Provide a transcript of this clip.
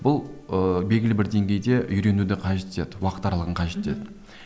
бұл ыыы белгілі бір деңгейде үйренуді қажет етеді уақыт аралығын қажет етеді